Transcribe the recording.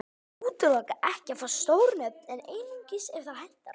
Ég útiloka ekki að fá stór nöfn en einungis ef það hentar.